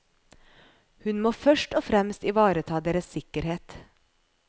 Hun må først og fremst ivareta deres sikkerhet.